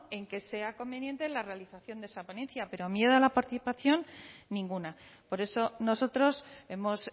en que sea conveniente la realización de esa ponencia pero miedo a la participación ninguna por eso nosotros hemos